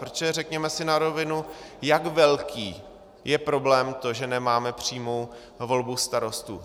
Protože řekněme si na rovinu, jak velký je problém to, že nemáme přímou volbu starostů?